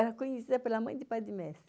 Era conhecida pela mãe de pai de mestre.